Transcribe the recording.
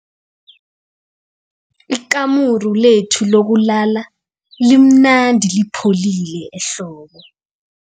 Ikamuru lethu lokulala limnandi lipholile ehlobo.